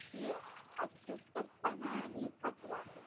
की अशक्तपणा आणि थकवा,